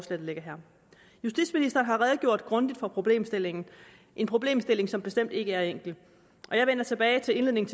der ligger her justitsministeren har redegjort grundigt for problemstillingen en problemstilling som bestemt ikke er enkel og jeg vender tilbage til indledningen